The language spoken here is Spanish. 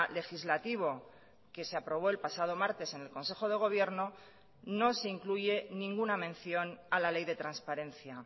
legislativo que se aprobó el pasado martes en el consejo de gobierno no se incluye ninguna mención a la ley de transparencia